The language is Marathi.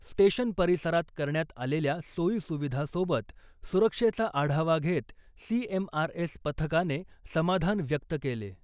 स्टेशन परिसरात करण्यात आलेल्या सोयी सुविधा सोबत सुरक्षेचा आढावा घेत सीएमआरएस पथकाने समाधान व्यक्त केले .